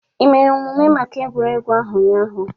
Ị mere omume maka egwuregwu ahụ ụnyahụ?